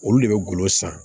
Olu de bɛ golo san